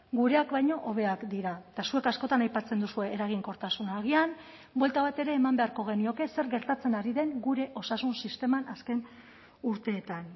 gureak baino hobeak dira eta zuek askotan aipatzen duzue eraginkortasuna agian buelta bat ere eman beharko genioke zer gertatzen ari den gure osasun sisteman azken urteetan